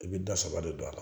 I bɛ da saba de don a la